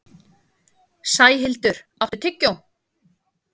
Sæhildur, áttu tyggjó?